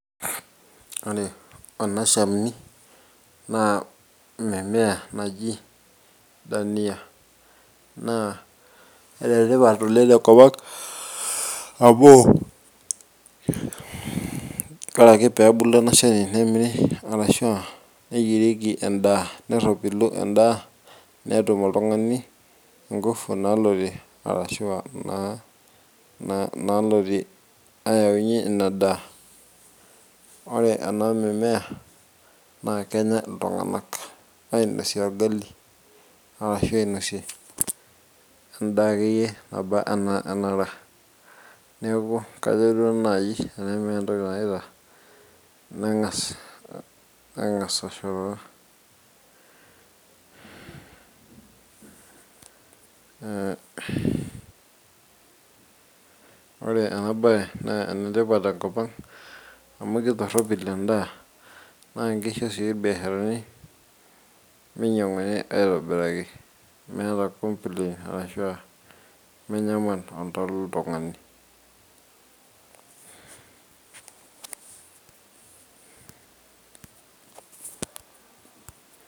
Ore ena Shani naa mimea naji dania naa enetipat oleng' tenkopang' amu ore pee ebulu ena shani nemiri arashu eyierieki endaa nerropilu endaa netum oltungani inkufu naalotie arashu nalotie aawu inadaa.